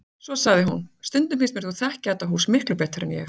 Svo sagði hún: Stundum finnst mér þú þekkja þetta hús miklu betur en ég